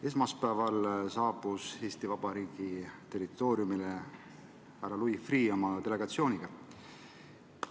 Esmaspäeval saabus Eesti Vabariigi territooriumile härra Louis Freeh oma delegatsiooniga.